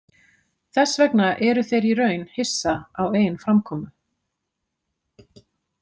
Þess vegna eru þeir í raun hissa á eigin framkomu.